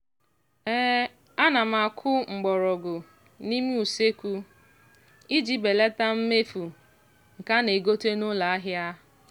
ana m akụ mgbọrọgwụ n'ime usekwu iji belata mmefu nke a na-egote n'ụlọahịa.